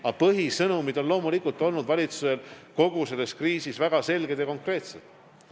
Aga põhisõnumid on loomulikult olnud valitsusel kogu selle kriisi jooksul väga selged ja konkreetsed.